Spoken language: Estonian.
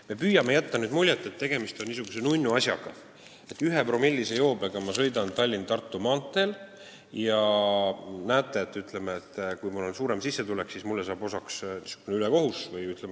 Me püüame jätta muljet, nagu tegemist oleks niisuguse nunnu asjaga: ma sõidan ühepromillise joobega Tallinna–Tartu maanteel ja kui mul on suurem sissetulek, siis mulle saab osaks niisugune ühekohus.